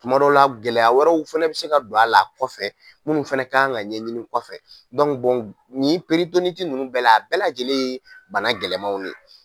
Tuma dɔw la gɛlɛya wɛrɛw fana bɛ se ka don a la kɔfɛ minnu fana kan ka ɲɛɲini kɔfɛ nin ninnu bɛɛ la a bɛɛ lajɛlen ye bana gɛlɛmanw ye